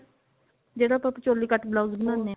ਜਿਹੜਾ ਆਪਾਂ choli cut blouse ਬਣਾਉਂਦੇ ਹਾਂ